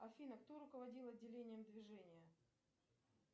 афина кто руководил отделением движения